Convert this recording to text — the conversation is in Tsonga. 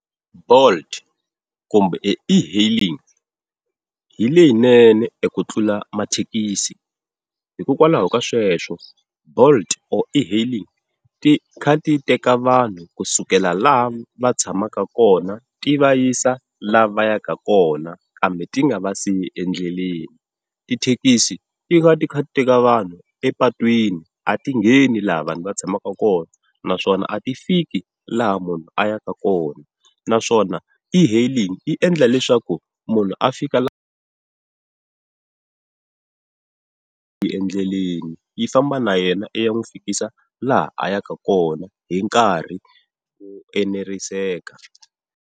Bolt kumbe e-hailing hi leyinene eku tlula mathekisi. Hikokwalaho ka sweswo bolt or e-hailing ti kha ti teka vanhu kusukela laha va tshamaka kona ti va yisa lava yaka kona, kambe ti nga va siyi endleleni. Tithekisi ti va ti kha ti teka vanhu epatwini a ti ngheni laha vanhu va tshamaka kona naswona a ti fiki laha munhu a yaka kona. Naswona e-hailing yi endla leswaku munhu a fika la endleleni, yi famba na yena yi ya n'wi fikisa laha a yaka kona hi nkarhi ku eneriseke.